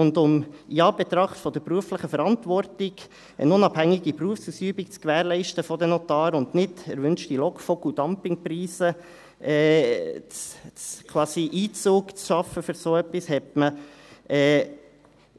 Und in Anbetracht der beruflichen Verantwortung, eine unabhängige Berufsausübung der Notare zu gewährleisten, und um keine unerwünschten LockvogelDumpingpreise Einzug halten zu lassen, nahm man